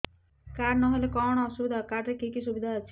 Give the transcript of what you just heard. card ନହେଲେ କଣ ଅସୁବିଧା ହେବ କାର୍ଡ ରେ କି କି ସୁବିଧା ଅଛି